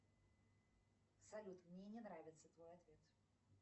салют мне не нравится твой ответ